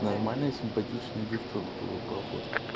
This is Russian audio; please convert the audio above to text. нормальные симпатичная девчонка вот по фоткам